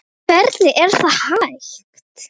Hvernig er það hægt?